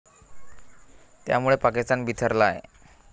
त्यामुळे पाकिस्तान बिथरला आहे.